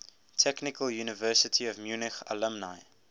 technical university of munich alumni